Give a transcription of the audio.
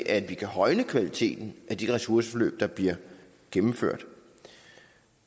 at vi kan højne kvaliteten af de ressourceforløb der bliver gennemført